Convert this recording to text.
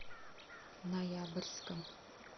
ноябрьском